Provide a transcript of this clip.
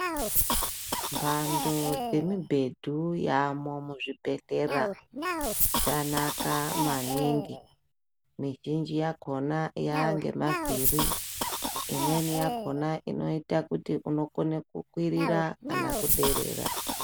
Antu nemibhedhu yaamuzvibhedhlera yakanaka maningi mizhinji yakhona yanemavhiri imweni yakhona inoita kuti unokona kukwirira kana kuderera.